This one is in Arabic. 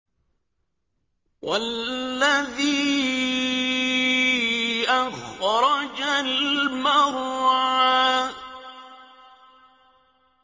وَالَّذِي أَخْرَجَ الْمَرْعَىٰ